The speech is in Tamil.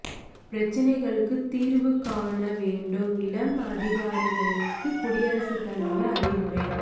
பிரச்சனைகளுக்குத் தீர்வு காண வேண்டும் இளம் அதிகாரிகளுக்கு குடியரசுத் தலைவர் அறிவுரை